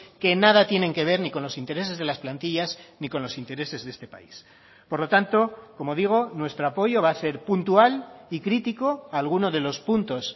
que nada tienen que ver ni con los intereses de las plantillas ni con los intereses de este país por lo tanto como digo nuestro apoyo va a ser puntual y crítico a alguno de los puntos